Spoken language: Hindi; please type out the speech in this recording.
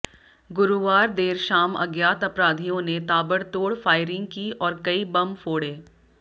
गुरुवार देर शाम अज्ञात अपराधियों ने ताबड़तोड़ फायरिंग की और कई बम फोड़े